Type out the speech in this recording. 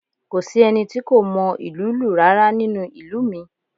Kò sí ẹni tí kò mọ ìlú lù rárá nínú ìlú mi